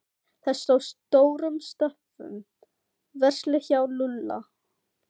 Þar stóð stórum stöfum: Verslið hjá Lúlla.